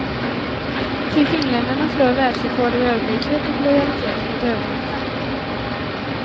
Ty finländarna slår världsrekord i ödmjukhet och lojalitet mot överheten.